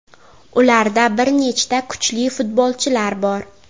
Ularda bir nechta kuchli futbolchilar bor.